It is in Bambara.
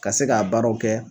Ka se k'a baaraw kɛ